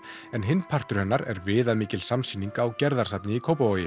en hinn partur hennar er viðamikil samsýning á Gerðarsafni í Kópavogi